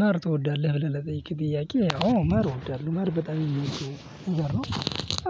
ማር ትወዳለህ ብለህ ለጠየከኝ ጥያቄ አዎ ማር እወዳለሁ ማር በጣም እምወደው ነገር ነው።